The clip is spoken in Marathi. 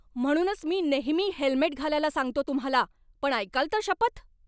म्हणूनच मी नेहमी हेल्मेट घालायला सांगतो तुम्हाला, पण ऐकाल तर शपथ.